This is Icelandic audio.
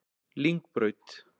Lyngbraut